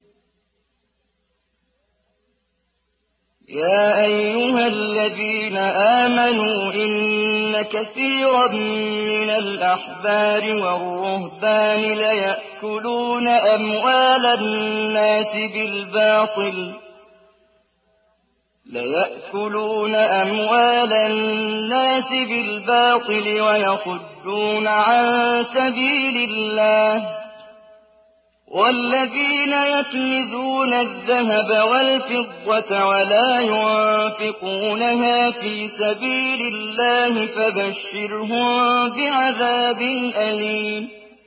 ۞ يَا أَيُّهَا الَّذِينَ آمَنُوا إِنَّ كَثِيرًا مِّنَ الْأَحْبَارِ وَالرُّهْبَانِ لَيَأْكُلُونَ أَمْوَالَ النَّاسِ بِالْبَاطِلِ وَيَصُدُّونَ عَن سَبِيلِ اللَّهِ ۗ وَالَّذِينَ يَكْنِزُونَ الذَّهَبَ وَالْفِضَّةَ وَلَا يُنفِقُونَهَا فِي سَبِيلِ اللَّهِ فَبَشِّرْهُم بِعَذَابٍ أَلِيمٍ